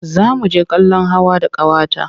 Za mu je kallon hawa da ƙawata.